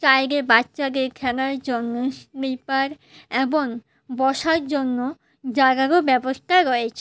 সাইডে বাচ্চাদের খেলার জন্য স্নিপার এবন বসার জন্য জাগারও ব্যবস্থা রয়েছে।